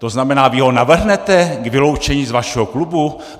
To znamená, vy ho navrhnete k vyloučení z vašeho klubu?